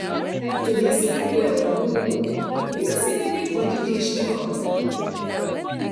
to dey sleep well good because e dey make body dey strong